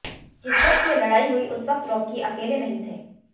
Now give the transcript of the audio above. जिस समय ये लड़ाई हुई उस वक़्त रॉकी अकेले नहीं थे